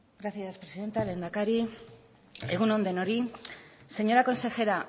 gracias presidenta lehendakari egun on denoi señora consejera